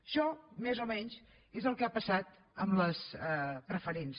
això més o menys és el que ha passat amb les preferents